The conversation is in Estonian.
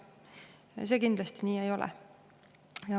See nii kindlasti ei ole.